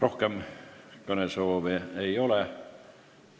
Rohkem kõnesoove ei ole.